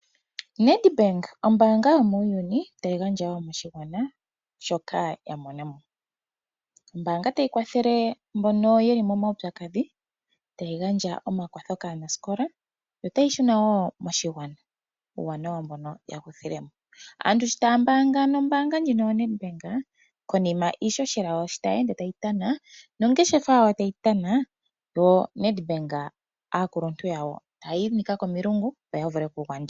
Nedbank ombaanga yomuuyuni tayi gandja wo moshigwana shoka ya mona mo. Ombaanga tayi kwathele mbono ye li momaupyakadhi, tayi gandja omakwatho kaanasikola yo otayi shi shuna wo moshigwana uuwanawa mbono ya kuthile mo. Aantu shi taya mbaanga nombaanga ndjino yoNedbank konima iihohela yawo sho tayi ende tayi tana nongeshefa yawo tayi tana yo aakuluntu yoNedbank taya inika komilungu, opo ya vule okugandja.